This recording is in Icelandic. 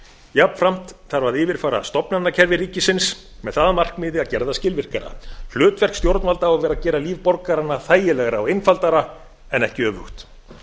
jafnframt þarf að yfirfara stofnanakerfi ríkisins með það að markmiði að gera það skilvirkara hlutverk stjórnvalda á að vera að gera líf borgaranna þægilegra og einfaldara en ekki öfugt